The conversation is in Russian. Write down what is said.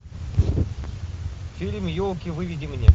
фильм елки выведи мне